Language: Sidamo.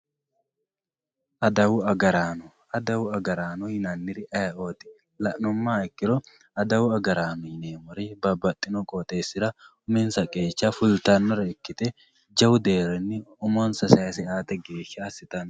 adawu agaraano adawu agaraano yinanniri ayeeooti la'numoha ikkiro adawu agaraanno yineemmori babbaxino qooxeessira uminsa qeecha fultannore ikkite jawu deerrinni umonsa sayiise aate geeshsha assitanno.